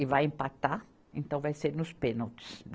E vai empatar, então vai ser nos pênaltis.